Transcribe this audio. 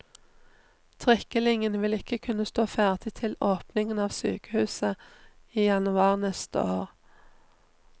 Trikkelinjen vil ikke kunne stå ferdig til åpningen av sykehuset i januar neste år.